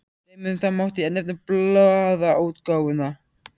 Sem dæmi um það mátti nefna blaðaútgáfuna.